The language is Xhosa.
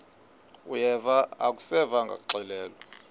uyeva akuseva ngakuxelelwa